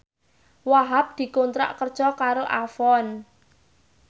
Wahhab dikontrak kerja karo Avon